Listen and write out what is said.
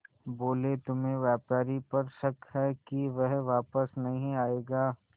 बोले तुम्हें व्यापारी पर शक है कि वह वापस नहीं आएगा